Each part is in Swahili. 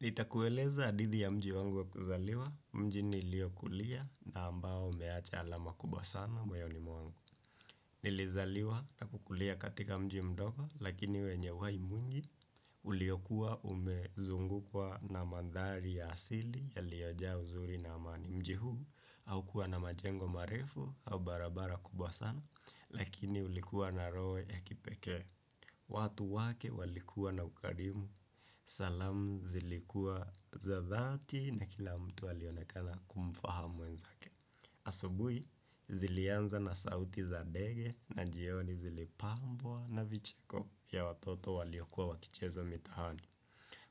Nitakueleza hadithi ya mji wangu wa kuzaliwa, mji niliokulia na ambao umeacha alama kubwa sana moyoni mwangu. Nilizaliwa na kukulia katika mji mdogo lakini wenye uhai mwingi uliokua umezungukwa na mandhari ya asili yaliojaa uzuri na amani mji huu haukuwa na majengo marefu au barabara kubwa sana lakini ulikua na roho ya kipekee watu wake walikuwa na ukarimu, salamu zilikua za dhati na kila mtu alionekana kumfahamu mwenzake. Asubuhi zilianza na sauti za ndege na jioni zilipambwa na vicheko vya watoto waliyokuwa wakicheza mitahani.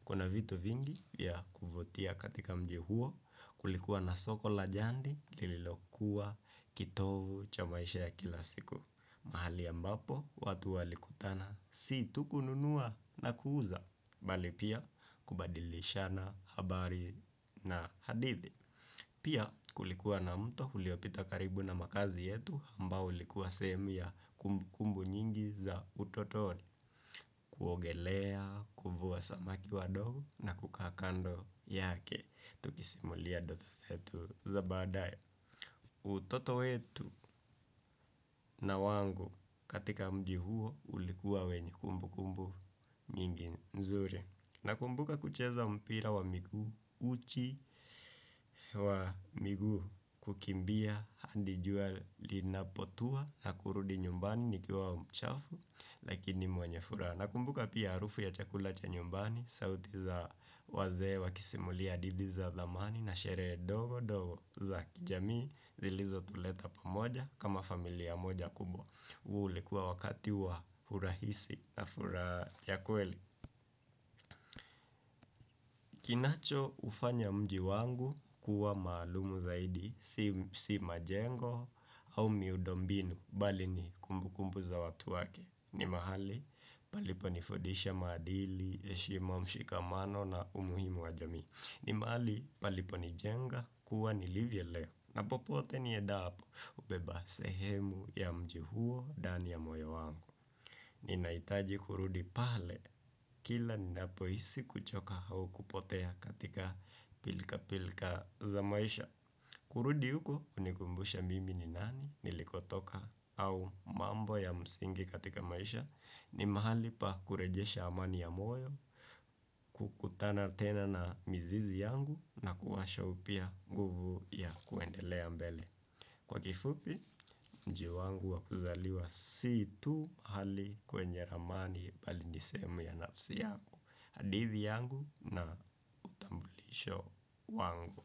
Kuna vitu vingi ya kuvutia katika mji huo kulikuwa na soko la jandi lililokuwa kitovu cha maisha ya kila siku. Mahali ambapo watu walikutana si tu kununua na kuuza Bali pia kubadilishana habari na hadithi Pia kulikuwa na mto uliopita karibu na makazi yetu ambao ulikuwa semi ya kumbukumbu nyingi za utotoni kuogelea, kuvua samaki wadogo na kukaa kando yake Tukisimulia ndoto zetu za baadae utoto wetu na wangu katika mji huo ulikuwa wenye kumbukumbu nyingi nzuri Nakumbuka kucheza mpira wa miguu uchi wa miguu kukimbia hadi jua linapotua na kurudi nyumbani nikiwa mchafu lakini mwenye furaha. Nakumbuka pia harufu ya chakula cha nyumbani, sauti za wazee wakisimulia hadithi za dhamani na sherehe ndogo ndogo za kijamii zilizotuleta pamoja kama familia moja kubwa. Ulikuwa wakati wa urahisi na furaha ya kweli. Kinachoufanya mji wangu kuwa maalumu zaidi, si majengo au miundo mbinu. Bali ni kumbukumbu za watu wake. Ni mahali, palipo nifundisha maadili, heshima ushikamano na umuhimu wa jamii. Ni mahali, palipo nijenga, kuwa nilivyo leo. Napopote niendapo hubeba sehemu ya mji huo ndani ya moyo wangu. Ninahitaji kurudi pale kila ninapohisi kuchoka au kupotea katika pilka pilka za maisha kurudi huko hunikumbusha mimi ni nani nilikotoka au mambo ya msingi katika maisha ni mahali pa kurejesha amani ya moyo, kukutana tena na mizizi yangu na kuwasha upya nguvu ya kuendelea mbele Kwa kifupi, mji wangu wakuzaliwa si tu hali kwenye amani bali ni sehemu ya nafsi yangu. Hadithi yangu na utambulisho wangu.